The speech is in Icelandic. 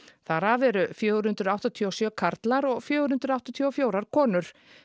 þar af eru fjögur hundruð áttatíu og sjö karlar og fjögur hundruð áttatíu og fjórar konur